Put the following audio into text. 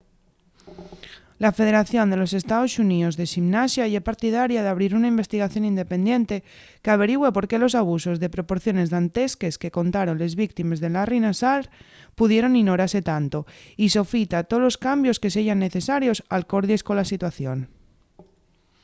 la federación de los estaos xuníos de ximnasia ye partidaria d'abrir una investigación independiente qu'averigüe por qué los abusos de proporciones dantesques que contaron les víctimes de larry nassar pudieron inorase tanto y sofita tolos cambios que seyan necesarios alcordies cola situación